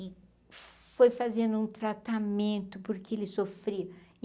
e foi fazendo um tratamento porque ele sofria.